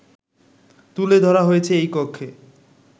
তুলে ধরা হয়েছে এই কক্ষে